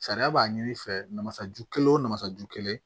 Sariya b'a ɲini i fɛ masaju kelen o na masa ju kelen